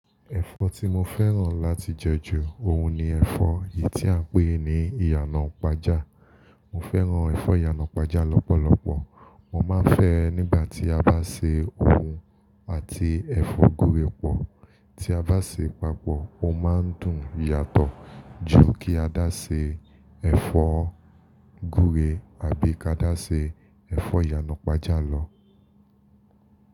Ẹ̀fọ́ tí mo fẹ́ràn láti jẹ jù òun ni ẹ̀fọ́ èyí tí à ń pè ní ìyànà-ìpájà. Mo fẹ́ràn ẹ̀fọ́ ìyànà-ìpájà lọ́pọ̀lọpọ̀. Mo máa ń fẹ́ ẹ nígbà tí a bá se òun àti ẹ̀fọ́ gúre pọ̀. Tí a bá ṣe papọ̀, ó máa ń dùn yàtọ̀ ju kí a dá ṣe ẹ̀fọ́ gúre àbí kí a dá ṣe ẹ̀fọ́ ìyànà-pájà lọ.